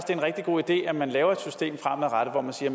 en rigtig god idé at man laver et system fremadrettet hvor man siger